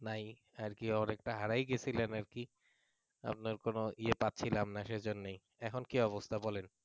আর কি অনেকটা হারায় গেছিলেন আর কি আপনার কোন ইয়ে পাচ্ছিলাম না সেজন্যই এখন কি অবস্থা বলেন